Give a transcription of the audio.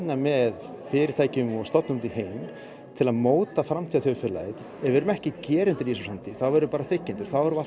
með fyrirtækjum og stofnunum út í heiminn til að móta framtíðarþjóðfélagið ef við erum ekki gerendur í þessari framtíð þá verðum við bara þiggjendur